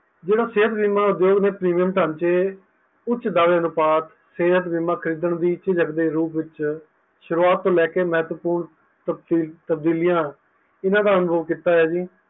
ਜੇਹੜਾ ਸੇਹਤ ਬੀਮਾ ਉਦਧੋਗ ਨੇ Premium ਜੇਹੜਾ ਓਚ ਦਾਅਵੇ ਸੇਹਤ ਬੀਮਾ ਖਰੀਦਣ ਦੀ ਝਿਜਕਦੇ ਰੂਪ ਵਿੱਚ ਸ਼ੁਰੂਵਾਤ ਲੈ ਕੇ ਮਹਤਪੁਰਨ ਤਬਦੀਲਯਾਂ ਇਹਨਾਂ ਦਾ ਅਨੁਰੋਗ ਕੀਤਾ ਹਾਂ ਜੀ